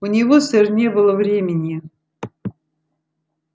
у него сэр не было времени